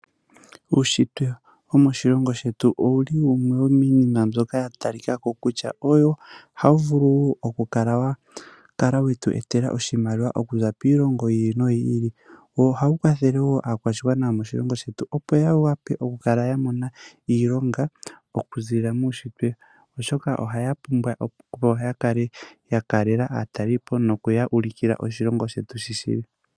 Uushitwe womoshilongo shetu owuli wumwe wominima mbyoka yatalikako kutya owo hawu vulu oku kala wetu etela oshimaliwa okuza oiilongo yi ili noyi ili. Ohawu kwathele aakwashigwana yomoshilongo shetu opo ya wape oku kala yamona iilonga oku zilila muushitwe, oshoka ohaya pumbwa oku kala yakalela aatalelipo nokuya ulikila nkene oshilongo shetu shili.